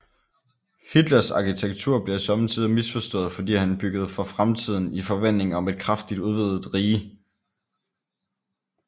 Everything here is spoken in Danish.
Hitlers arkitektur bliver somme tider misforstået fordi han byggede for fremtiden i forventning om et kraftigt udvidet rige